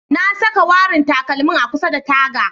Na saka warin takalmin a kusa da taga.